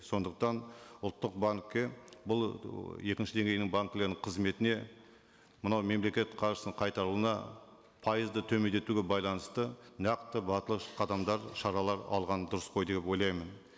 сондықтан ұлттық банкке бұл ы екінші деңгейдің банкілерінің қызметіне мынау мемлекет қаржысын қайтаруына пайызды төмендетуге байланысты нақты батыл қадамдар шаралар алған дұрыс қой деп ойлаймын